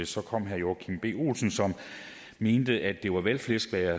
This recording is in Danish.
så kom herre joachim b olsen som mente at det var valgflæsk hvad jeg